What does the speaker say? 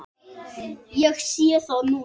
Ég sé það núna!